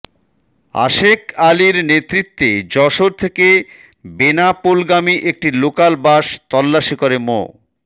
আশেক আলীর নেতৃত্বে যশোর থেকে বেনাপোলগামী একটি লোকাল বাস তল্লাশি করে মো